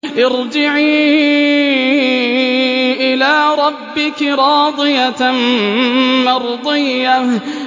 ارْجِعِي إِلَىٰ رَبِّكِ رَاضِيَةً مَّرْضِيَّةً